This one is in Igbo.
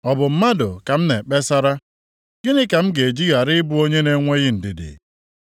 “Ọ bụ mmadụ ka m na-ekpesara? Gịnị ka m ga-eji ghara ịbụ onye na-enweghị ndidi?